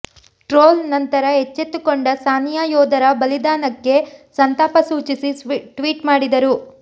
troll ನಂತರ ಎಚ್ಚೆತ್ತುಕೊಂಡ ಸಾನಿಯಾ ಯೋಧರ ಬಲಿದಾನಕ್ಕೆ ಸಂತಾಪ ಸೂಚಿಸಿ ಟ್ವೀಟ್ ಮಾಡಿದರು